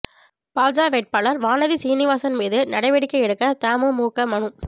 பாஜ வேட்பாளர் வானதி சீனிவாசன் மீது நடவடிக்கை எடுக்க தமுமுக மனு